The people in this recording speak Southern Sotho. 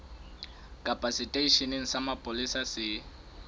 kapa seteisheneng sa mapolesa se